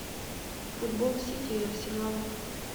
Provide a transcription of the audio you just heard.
футбол сити и арсенала